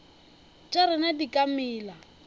tša rena di ka mela